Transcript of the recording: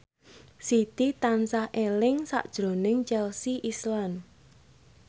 Siti tansah eling sakjroning Chelsea Islan